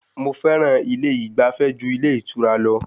Mo fẹ́ràn ilé ìgbafẹ́ ju ilé ìtura lọ.